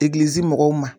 Egilizi mɔgɔw ma